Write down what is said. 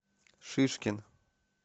шишкин